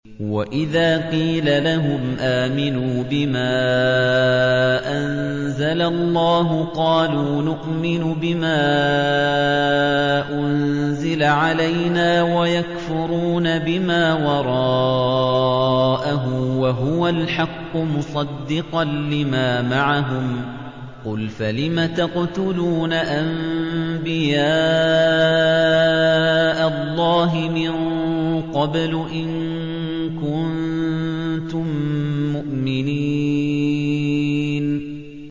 وَإِذَا قِيلَ لَهُمْ آمِنُوا بِمَا أَنزَلَ اللَّهُ قَالُوا نُؤْمِنُ بِمَا أُنزِلَ عَلَيْنَا وَيَكْفُرُونَ بِمَا وَرَاءَهُ وَهُوَ الْحَقُّ مُصَدِّقًا لِّمَا مَعَهُمْ ۗ قُلْ فَلِمَ تَقْتُلُونَ أَنبِيَاءَ اللَّهِ مِن قَبْلُ إِن كُنتُم مُّؤْمِنِينَ